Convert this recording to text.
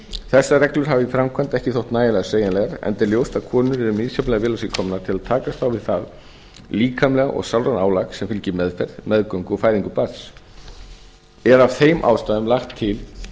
þessar reglur hafa í framkvæmd ekki þótt nægilega sveigjanlegar enda er ljóst að konur eru misjafnlega vel á sig komnar til að takast á við það líkamlega og sálræna álag sem fylgir meðferð meðgöngu og fæðingu barns er af þeim ástæðum lagt til